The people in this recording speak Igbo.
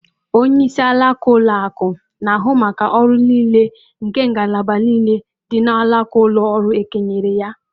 Onyeisi alaka ụlọ akụ̀ na-ahụ maka ọrụ niile nke ngalaba niile dị n’alaka ụlọ ọrụ e kenyere ya.